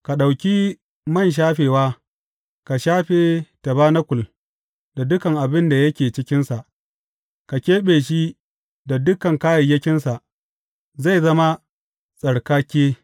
Ka ɗauki man shafewa ka shafe tabanakul da duka abin da yake cikinsa; ka keɓe shi da dukan kayayyakinsa, zai zama tsarkake.